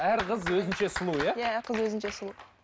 әр қыз өзінше сұлу иә иә қыз өзінше сұлу